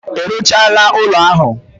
I ruchala ulo ahu?